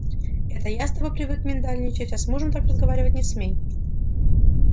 это я с тобой привык миндальничать а с мужем так разговаривать не смей